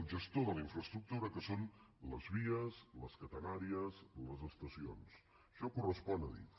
el gestor de la infraestructura que són les vies les catenàries les estacions això correspon a adif